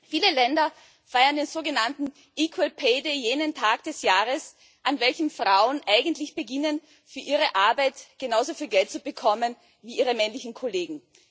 Viele Länder feiern den sogenannten equal pay day jenen Tag des Jahres, an welchem Frauen eigentlich beginnen, für ihre Arbeit genauso viel Geld zu bekommen wie ihre männlichen Kollegen.